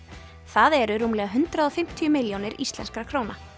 það eru rúmlega hundrað og fimmtíu milljónir íslenskra króna